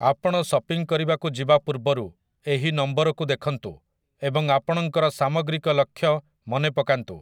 ଆପଣ ସପିଂ କରିବାକୁ ଯିବା ପୂର୍ବରୁ, ଏହି ନମ୍ବରକୁ ଦେଖନ୍ତୁ ଏବଂ ଆପଣଙ୍କର ସାମଗ୍ରିକ ଲକ୍ଷ୍ୟ ମନେ ପକାନ୍ତୁ ।